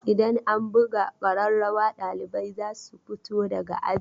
Idan an buga ƙararrawa ɗalibai za su fito daga aji.